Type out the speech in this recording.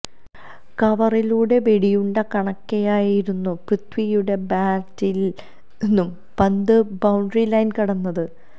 കവറിലൂടെ വെടിയുണ്ട കണക്കെയായിരുന്നു പൃഥ്വിയുടെ ബാറ്റില് നിന്നും പന്ത് ബൌണ്ടറി ലൈന് കടന്നത്